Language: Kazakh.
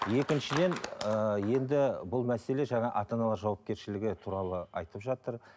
екіншіден ііі енді бұл мәселе жаңа ата аналар жауапкершілігі туралы айтып жатыр